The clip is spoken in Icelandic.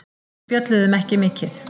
Við spjölluðum ekki mikið.